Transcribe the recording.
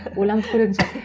ойланып көретін